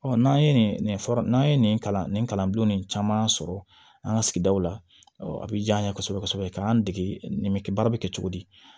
Ɔ n'an ye nin fura n'an ye nin kalan nin kalan bulon nin caman sɔrɔ an ga sigidaw la a bi jan an ye kosɛbɛ kosɛbɛ ka an dege nin bɛ kɛ baara bɛ kɛ cogo di